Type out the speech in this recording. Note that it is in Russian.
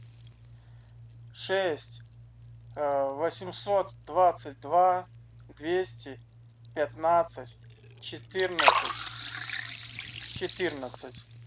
шесть восемьсот двадцать два двести пятнадцать четырнадцать четырнадцать